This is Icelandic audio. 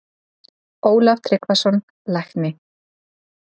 Ólaf Tryggvason, lækni